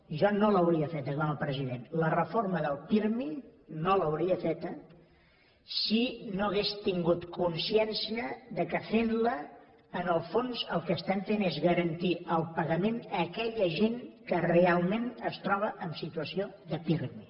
jo no l’hauria feta com a president la reforma del pirmi no l’hauria feta si no hagués tingut consciència que fent la en el fons el que estem fent és garantir el pagament a aquella gent que realment es troba en situació de pirmi